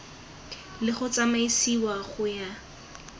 le go tsamaisiwa go ya